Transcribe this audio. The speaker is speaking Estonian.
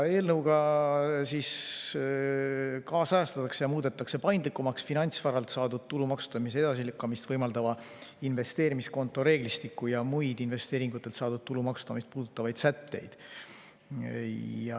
Eelnõuga kaasajastatakse ja muudetakse paindlikumaks finantsvaralt saadud tulu maksustamise edasilükkamist võimaldavat investeerimiskonto reeglistikku ja muid investeeringutelt saadud tulu maksustamist puudutavaid sätteid.